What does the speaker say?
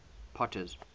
potter's